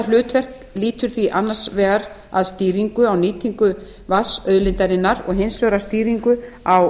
hlutverk lýtur því annars vegar að stýringu á nýtingu vatnsauðlindarinnar og hins vegar á